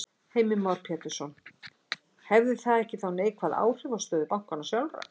Heimir Már Pétursson: Hefði það ekki þá neikvæð áhrif á stöðu bankanna sjálfra?